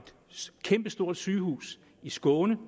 kæmpestort sygehuse i skåne